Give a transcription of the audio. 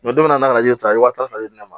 don min na n'a y'o ta wa tan ta ka di ne ma